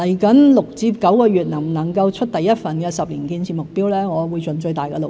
至於未來6至9個月能否推出第一份10年建設目標，我會盡最大的努力。